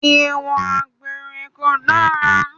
Ìwà àgbèrè kò dára